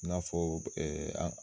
I n'a fɔ